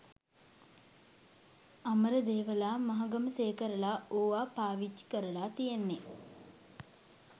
අමරදේවලා මහගමසේකරලා ඕවා පාවිච්චි කරලා තියෙන්නේ